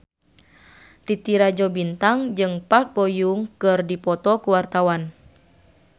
Titi Rajo Bintang jeung Park Bo Yung keur dipoto ku wartawan